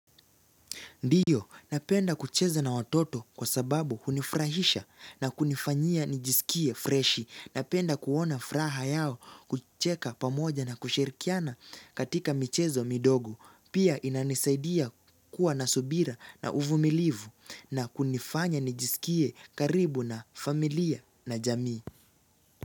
Ndiyo, napenda kucheza na watoto kwa sababu hunifurahisha na kunifanyia nijisikie freshi. Napenda kuona furaha yao kucheka pamoja na kushirikiana katika michezo midogo. Pia inanisaidia kuwa na subira na uvumilivu na kunifanya nijisikie karibu na familia na jamii.